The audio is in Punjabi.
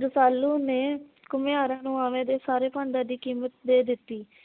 ਰੁਸਾਲੂ ਨੇ ਘੁਮਿਆਰਾ ਨੂੰ ਆਵੇ ਦੇ ਸਾਰੇ ਭਾਂਡਿਆਂ ਦੀ ਕਿਮਤ ਦੇ ਦਿਤੀ ।